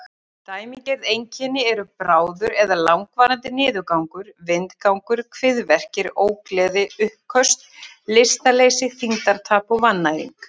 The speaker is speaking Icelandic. Dæmigerð einkenni eru bráður eða langvarandi niðurgangur, vindgangur, kviðverkir, ógleði, uppköst, lystarleysi, þyngdartap og vannæring.